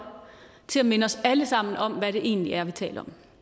til at minde os alle sammen om hvad det egentlig er vi taler